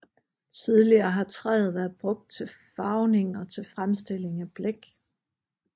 Tidligere har træet været brugt til farvning og til fremstilling af blæk